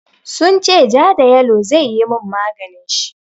Sun ce ja da yalo zai yi min maganin shi.